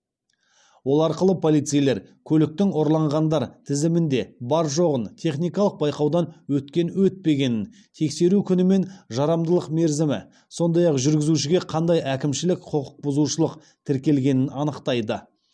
ол арқылы полицейлер көліктің ұрланғандар тізімінде бар жоғын техникалық байқаудан өткен өтпегенін тексеру күні мен жарамдылық мерзімі сондай ақ жүргізушіге қандай әкімшілік құқық бұзушылық тіркелгенін анықтайды